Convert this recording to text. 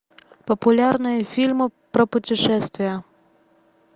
популярные фильмы про путешествия